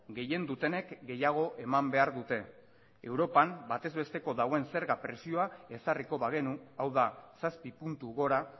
gehien dutenek gehiago eman behar dute europan batez besteko dagoen zerga presioa ezarriko bagenu hau da zazpi puntu gora